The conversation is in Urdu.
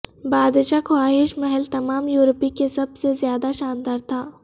بادشاہ خواہش محل تمام یورپی کے سب سے زیادہ شاندار تھا